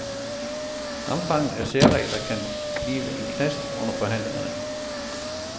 Omfanget af særregler kan blive en knast under forhandlingerne.